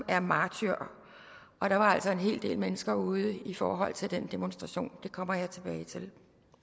er martyr og der var altså en hel del mennesker ude i forhold til den demonstration det kommer jeg tilbage til